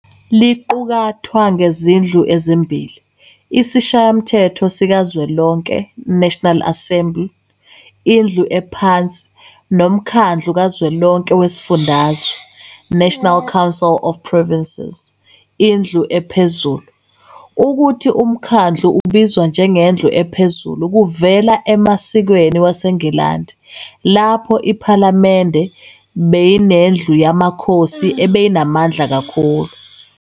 Liqukathwa ngezindlu ezimbili- Isishayamthetho sikaZwelonke, "National Assembly", indlu ephansi, noMkhadlu kaZwelonke weziFundazwe, "National Council of Provinces", indlu ephezulu. Ukuthi uMkhandlu ubizwa njengendlu ephezulu kuvela emasikweni waseNgilandi lapho iPhalamende beyineNdlu yamaKhosi ebeyinamandla amakhulu.